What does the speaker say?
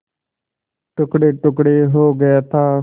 टुकड़ेटुकड़े हो गया था